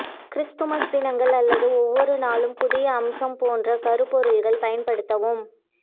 Christmas தினங்கள் அல்லது ஒவ்வொரு நாளும் புதிய அம்சம் போன்ற கருப்பொருள்கள் பயன்படுத்தவும்